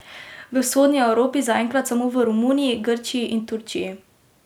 V Vzhodni Evropi zaenkrat samo v Romuniji, Grčiji in Turčiji.